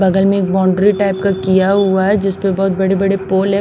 बगल में एक बाउंड्री टाइप का किया हुआ है जिस पर बहुत बड़े-बड़े पोल है।